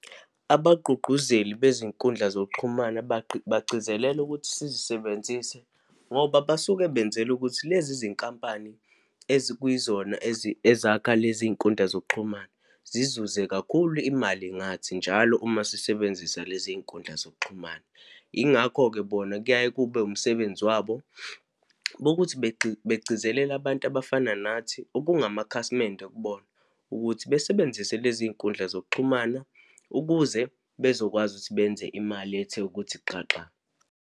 Abagqugquzeli bezinkundla zokuxhumana bagcizelele ukuthi sisebenzise, ngoba basuke benzela ukuthi lezi zinkampani ezikuyizona ezakha lezi iy'nkundla zokuxhumana zizuze kakhulu imali ngathi njalo uma sisebenzisa lezi iy'nkundla zokuxhumana. Yingakho-ke bona kuyaye kube umsebenzi wabo wokuthi bagcizelele abantu abafana nathi, okungamakhasimende kubona, ukuthi besebenzise lezi iy'nkundla zokuxhumana ukuze bezokwazi ukuthi benze imali ethe ukuthi xaxa.